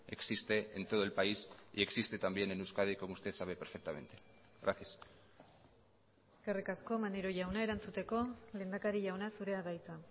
existe en todo el país y existe también en euskadi como usted sabe perfectamente gracias eskerrik asko maneiro jauna erantzuteko lehendakari jauna zurea da hitza